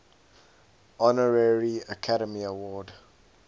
honorary academy award